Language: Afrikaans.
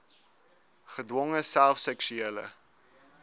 gedwonge self seksuele